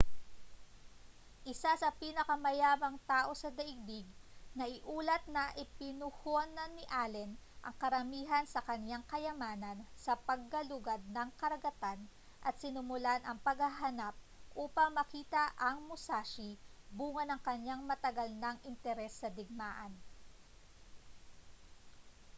isa sa mga pinakamayamang tao sa daigdig naiulat na ipinuhunan ni allen ang karamihan sa kaniyang kayamanan sa paggalugad ng karagatan at sinimulan ang paghahanap upang makita ang musashi bunga ng kaniyang matagal nang interes sa digmaan